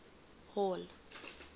hall